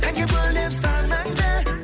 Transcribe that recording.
әнге бөлеп санаңды